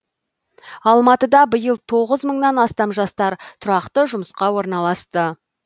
алматыда биыл тоғыз мыңнан астам жастар тұрақты жұмысқа орналасты